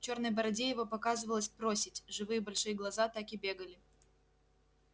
в чёрной бороде его показывалась проседь живые большие глаза так и бегали